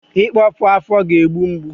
Ịkpọpu afọ ga-egbu mgbu